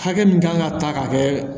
Hakɛ min kan ka ta k'a kɛ